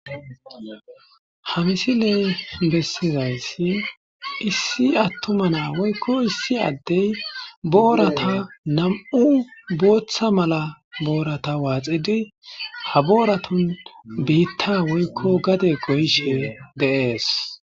ha misiley bessizasi issi attuma naa woykko issi addey booratta nam'u booththa malla booratta waaxidi ha booratun biitta woykko gade goyishshe de'ees